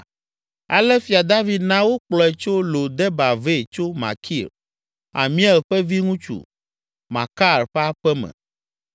Ale Fia David na wokplɔe tso Lo Debar vɛ tso Makir, Amiel ƒe viŋutsu, Makar ƒe aƒe me.